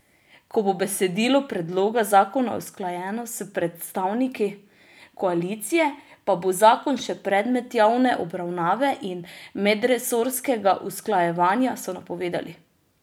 Ko bo besedilo predloga zakona usklajeno s predstavniki koalicije, pa bo zakon še predmet javne obravnave in medresorskega usklajevanja, so napovedali.